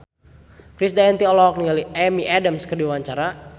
Krisdayanti olohok ningali Amy Adams keur diwawancara